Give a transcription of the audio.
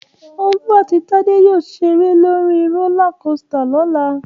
Olú àti Tádé yóò ṣeré lórí rólá kosità lọ́la